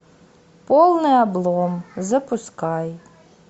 полный облом запускай